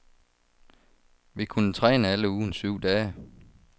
Vi kunne træne alle ugens syv dage.